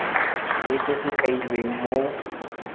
le se se kailweng mo